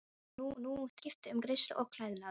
Ég rakaði mig nú og skipti um greiðslu og klæðnað.